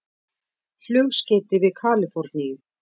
Flugskeyti við Kalíforníu